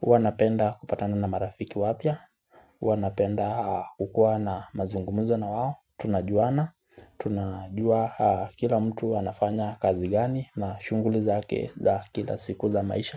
huwa napenda kupatana na marafiki wapya huwa napenda kukuwa na mazungumuzo na wao tunajuana Tunajua kila mtu anafanya kazi gani na shughuli zake za kila siku za maisha.